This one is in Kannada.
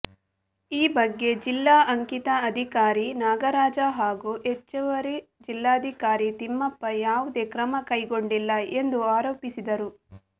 ಈ ಬಗ್ಗೆ ಜಿಲ್ಲಾ ಅಂಕಿತ ಅಧಿಕಾರಿ ನಾಗರಾಜ ಹಾಗೂ ಹೆಚ್ಚುವರಿ ಜಿಲ್ಲಾಧಿಕಾರಿ ತಿಮ್ಮಪ್ಪ ಯಾವುದೇ ಕ್ರಮ ಕೈಗೊಂಡಿಲ್ಲ ಎಂದು ಆರೋಪಿಸಿದರು